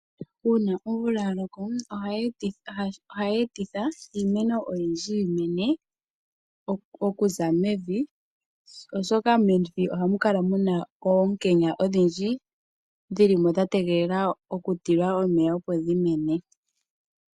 Uuna omvula ya loko ohayi etitha iimeno oyindji yi mene okuza mevi oshoka mevi ohamu kala oonkenya odhindji dhilimo dha tegelela oku tilwa omeya opo dhi mene.